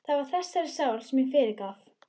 Það var þessari sál sem ég fyrirgaf.